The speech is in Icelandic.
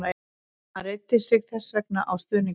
Hann reiddi sig þess vegna á stuðning hennar.